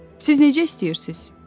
Siz necə istəyirsiz?